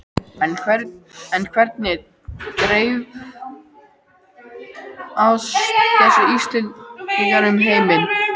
En hvernig dreifast þessi Íslendingar um heiminn?